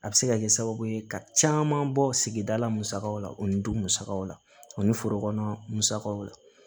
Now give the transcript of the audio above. A bɛ se ka kɛ sababu ye ka caman bɔ sigida la musakaw la u ni du musakaw la ani forokɔnɔ musakaw la